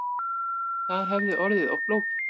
Það hefði orðið of flókið